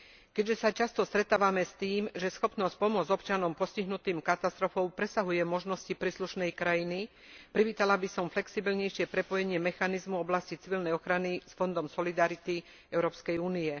Keďže sa často stretávame s tým, že schopnosť pomôcť občanom postihnutým katastrofou presahuje možnosti príslušnej krajiny, privítala by som flexibilnejšie prepojenie mechanizmu v oblasti civilnej ochrany s fondom solidarity Európskej únie.